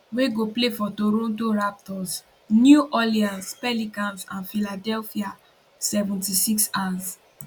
wey go play for toronto raptors new orleans pelicans and philadelphia 76ers